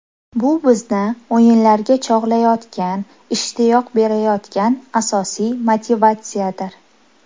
Bu bizni o‘yinlarga chog‘layotgan, ishtiyoq berayotgan asosiy motivatsiyadir.